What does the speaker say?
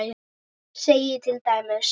segir til dæmis